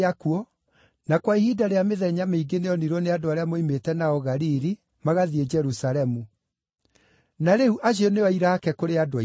na kwa ihinda rĩa mĩthenya mĩingĩ nĩonirwo nĩ andũ arĩa moimĩte nao Galili, magathiĩ Jerusalemu. Na rĩu acio nĩo aira aake kũrĩ andũ aitũ.